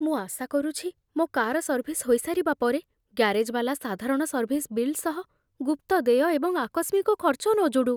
ମୁଁ ଆଶା କରୁଛି ମୋ କାର ସର୍ଭିସ୍ ହୋଇସାରିବା ପରେ ଗ୍ୟାରେଜବାଲା ସାଧାରଣ ସର୍ଭିସ୍ ବିଲ୍ ସହ ଗୁପ୍ତ ଦେୟ ଏବଂ ଆକସ୍ମିକ ଖର୍ଚ୍ଚ ନ ଯୋଡ଼ୁ।